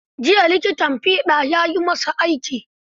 Jiya likitan fiɗa ya yi masa aiki.